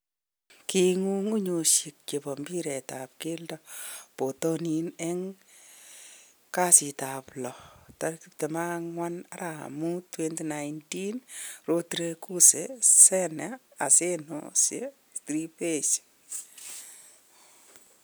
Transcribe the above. Kong'ung 'unyoshek chebo mbiret ab keldo botonin eng kasitab lo24.05.2019: Rodriguez, Sane, Asensio, Trippier,